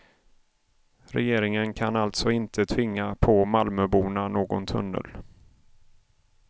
Regeringen kan alltså inte tvinga på malmöborna någon tunnel.